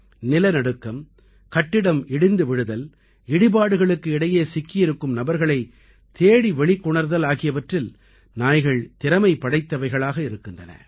நிலநடுக்கம் கட்டிடம் இடிந்து விழுதல் இடிபாடுகளுக்கு இடையே சிக்கியிருக்கும் நபர்களைத் தேடி வெளிக்கொணர்தல் ஆகியவற்றில் நாய்கள் திறமை படைத்தவைகளாக இருக்கின்றன